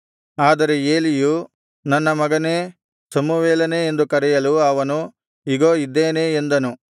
ಆದರೆ ಏಲಿಯು ನನ್ನ ಮಗನೇ ಸಮುವೇಲನೇ ಎಂದು ಕರೆಯಲು ಅವನು ಇಗೋ ಇದ್ದೇನೆ ಎಂದನು